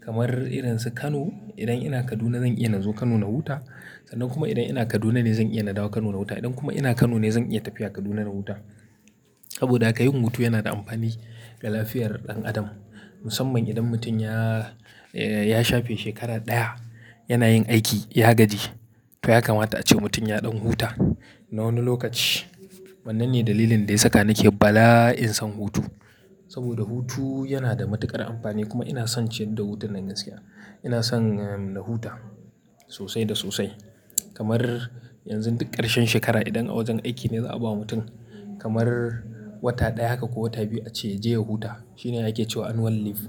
Kamar irin su Kano, idan ina Kaduna zan iya na zo Kano na huta. Sannan kuma idan ina Kaduna ne zan iya na dawo Kano na huta. Idan kuma ina Kano ne zan iya tafiya Kaduna na huta. Saboda ka yin hutu yana da amfani ga lafiyar ɗan adam. Musamman idan mutum ya, ya shafe shekara ɗaya yana yin aiki, ya gaji. To haka mata ce mutum ya ɗan huta na wani lokaci. Wannan ne dalilin da ya saka nake bala'in son hutu. Saboda hutu yana da matuƙar amfani kuma ina son ciyar da hutun da zan siya. Ina son, eh, na huta sosai da sosai. Kamar yanzu duk ƙarshen shekara idan a wajen aiki ne za a ba mutum kamar wata ɗaya haka ko wata biyu a ce ya je ya huta. Shine yake cewa annual leave.